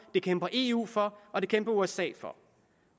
det kæmper eu for og det kæmper usa for